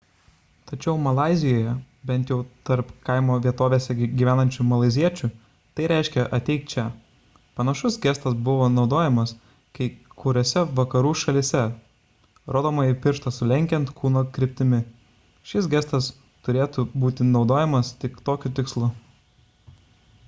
tačiau malaizijoje bent jau tarp kaimo vietovėse gyvenančių malaiziečių tai reiškia ateik čia panašus gestas naudojamas kai kuriose vakarų šalyse rodomąjį pirštą sulenkiant kūno kryptimi šis gestas turėtų būti naudojamas tik tokiu tikslu